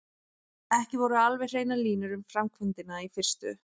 Ekki voru alveg hreinar línur um framkvæmdina í fyrstu.